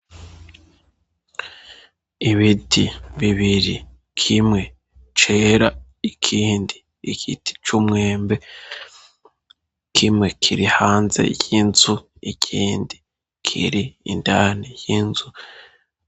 Ibiti bibiri kimwe cera ikindi igiti c'umwemwe kimwe kiri hanze y'inzu igindi kiri indani y'inzu.